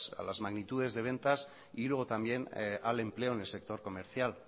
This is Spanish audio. a las magnitudes de ventas y luego también al empleo en el sector comercial